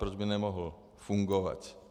Proč by nemohl fungovat?